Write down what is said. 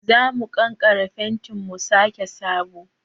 Za mu kankare fentin mu sake sabo.